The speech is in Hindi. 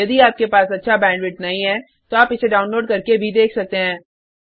यदि आपके पास अच्छा बैंडविड्थ नहीं है तो आप इसे डाउनलोड करके देख सकते हैं